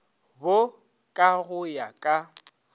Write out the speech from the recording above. bo ka go ya ka